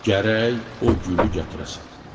Gərək o gülü gətirəsən.